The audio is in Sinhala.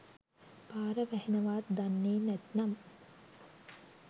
පාර වැහෙනවාත් දන්නේ නැත්නම්